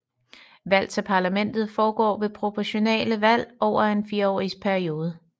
Valg til parlamentet foregår ved proportionale valg for fireårs perioder